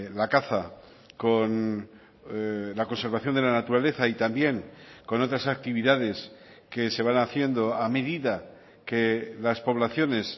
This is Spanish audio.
la caza con la conservación de la naturaleza y también con otras actividades que se van haciendo a medida que las poblaciones